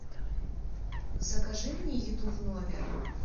закажи мне еду в номер